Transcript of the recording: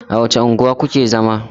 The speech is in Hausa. A wace unguwa ku ke zama?